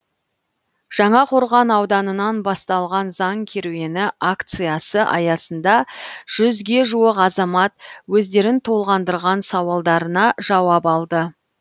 жаңақорған ауданынан басталған заң керуені акциясы аясында жүзге жуық азамат өздерін толғандырған сауалдарына жауап алды